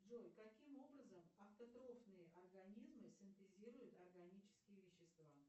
джой каким образом автотрофные организмы синтезируют органические вещества